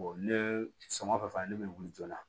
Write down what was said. ne sɔminen fɛn fɛn fana ne bɛ wuli joona